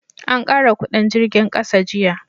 an kara kudin jirgin ƙasa jiya